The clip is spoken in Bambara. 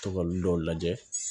Tɔgɔ olu dɔw lajɛ